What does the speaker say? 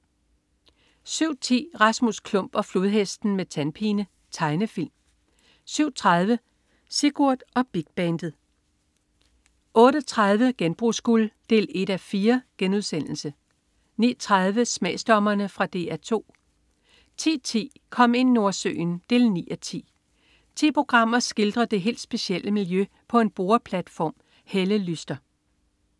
07.10 Rasmus Klump og Flodhesten med tandpine. Tegnefilm 07.30 Sigurd og Big Bandet 08.30 Genbrugsguld 1:4* 09.30 Smagsdommerne. Fra DR 2 10.10 Kom ind Nordsøen 9:10. Ti programmer skildrer det helt specielle miljø på en boreplatform. Helle Lyster